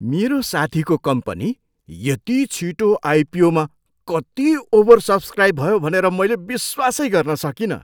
मेरो साथीको कम्पनी यति छिटो आइपिओमा कति ओभरसब्सक्राइब भयो भनेर मैले विश्वासै गर्न सकिनँ।